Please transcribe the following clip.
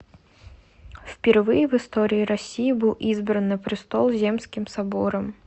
впервые в истории россии был избран на престол земским собором